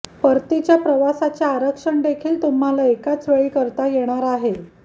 परतीच्या प्रवासाचे आरक्षण देखील तुम्हाला एकाचवेळी करता येणार आहे